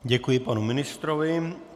Děkuji panu ministrovi.